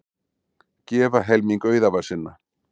Gefa helming auðæfa sinna